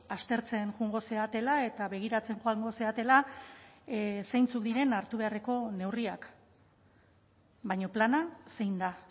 aztertzen joango zaretela eta begiratzen joango zaretela zeintzuk diren hartu beharreko neurriak baina plana zein da